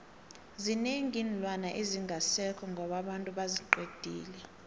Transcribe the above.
zinengi iinlwana ezingasekho ngoba abantu baziqedile